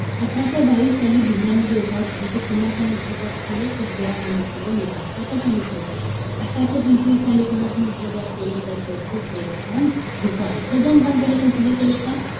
अठराशे बावीस साली, भिल्लांची जे उठाव केले ते कोणाच्या नेतृत्वात केले? तर हिरा नावाचा जो नेता होता. त्याच्या नेतृत्वात. अठराशे पंचवीस साली, कोणाच्या नेतृत्वात केले, तर ते होते सेवाराम गिसाडे. हे दोन point पहिले consider केले. का?